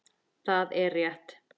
Það er rétt.